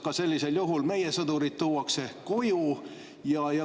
Kas sellisel juhul ka meie sõdurid tuuakse koju?